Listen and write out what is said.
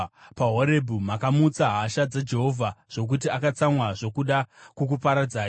PaHorebhi makamutsa hasha dzaJehovha zvokuti akatsamwa zvokuda kukuparadzai.